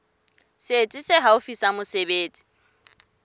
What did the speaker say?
setsi se haufi sa mesebetsi